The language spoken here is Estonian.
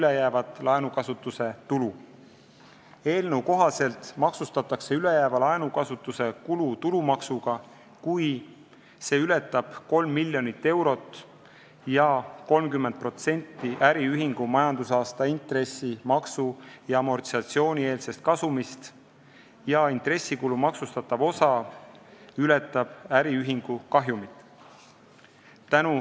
Eelnõu kohaselt maksustatakse ülejääv laenukasutuse kulu tulumaksuga, kui see ületab 3 miljonit eurot ja 30% äriühingu majandusaasta intressi-, maksu- ja amortisatsioonieelsest kasumist ning intressikulu maksustatav osa ületab äriühingu kahjumit.